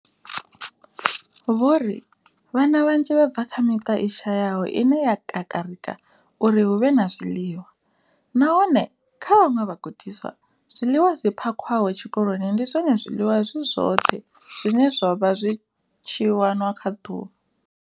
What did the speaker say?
Vho ri, Vhana vhanzhi vha bva kha miṱa i shayaho ine ya kakarika uri hu vhe na zwiḽiwa, nahone kha vhaṅwe vhagudiswa, zwiḽiwa zwi phakhiwaho tshikoloni ndi zwone zwiḽiwa zwi zwoṱhe zwine zwa vha zwi tshi wana kha ḓuvha.